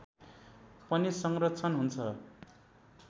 पनि संरक्षण हुन्छ